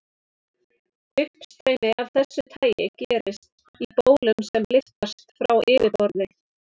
Uppstreymi af þessu tagi gerist í bólum sem lyftast frá yfirborði.